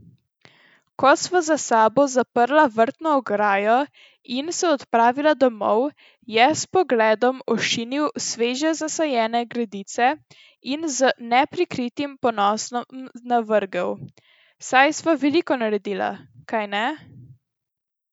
Ko sva za sabo zaprla vrtno ograjo in se odpravila domov, je s pogledom ošinil sveže zasajene gredice in z neprikritim ponosom navrgel: 'Saj sva veliko naredila, kajne?